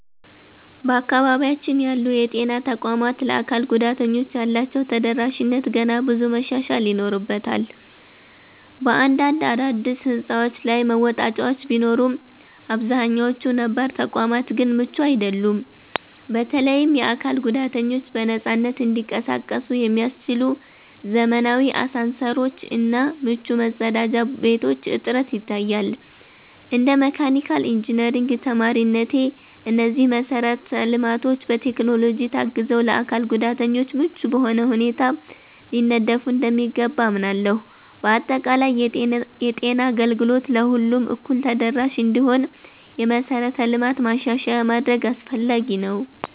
በአካባቢያችን ያሉ የጤና ተቋማት ለአካል ጉዳተኞች ያላቸው ተደራሽነት ገና ብዙ መሻሻል ይኖርበታል። በአንዳንድ አዳዲስ ሕንፃዎች ላይ መወጣጫዎች ቢኖሩም፣ አብዛኛዎቹ ነባር ተቋማት ግን ምቹ አይደሉም። በተለይም የአካል ጉዳተኞች በነፃነት እንዲንቀሳቀሱ የሚያስችሉ ዘመናዊ አሳንሰሮች እና ምቹ መጸዳጃ ቤቶች እጥረት ይታያል። እንደ መካኒካል ኢንጂነሪንግ ተማሪነቴ፣ እነዚህ መሰረተ ልማቶች በቴክኖሎጂ ታግዘው ለአካል ጉዳተኞች ምቹ በሆነ ሁኔታ ሊነደፉ እንደሚገባ አምናለሁ። በአጠቃላይ፣ የጤና አገልግሎት ለሁሉም እኩል ተደራሽ እንዲሆን የመሠረተ ልማት ማሻሻያ ማድረግ አስፈላጊ ነው።